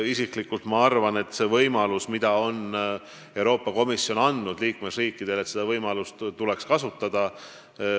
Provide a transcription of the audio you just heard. Isiklikult arvan, et seda võimalust, mille Euroopa Komisjon on liikmesriikidele andnud, tuleks kasutada.